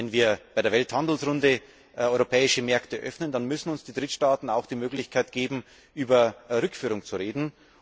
Wenn wir bei der Welthandelsrunde europäische Märkte öffnen, dann müssen uns die Drittstaaten auch die Möglichkeit geben, über Rückführung zu reden.